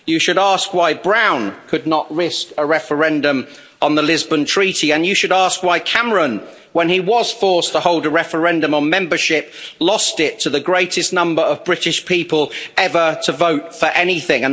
You should ask why Brown could not risk a referendum on the Lisbon Treaty and you should ask why Cameron, when he was forced to hold a referendum on membership, lost it to the greatest number of British people ever to vote for anything.